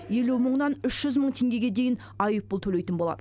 елу мыңнан үш жүз мың теңгеге дейін айыппұл төлейтін болады